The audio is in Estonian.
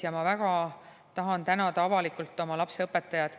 Ma väga tahan tänada avalikult oma lapse õpetajat.